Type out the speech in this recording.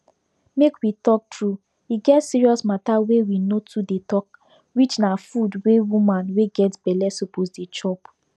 make we talk true e get serious mata wey we no too dey talk which na food wey woman wey get belle suppose dey chop